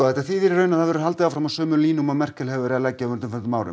þetta þýðir í raun að það verður haldið áfram á sömu línum og Merkel hefur verið að leggja á undanförnum árum